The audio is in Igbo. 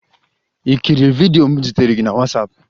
You kirie vidiyo m zitere gị na WhatsApp?